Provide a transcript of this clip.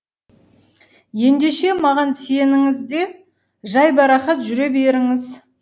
ендеше маған сеніңіз де жайбарақат жүре беріңіз